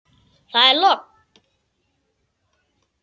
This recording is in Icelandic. Það er logn.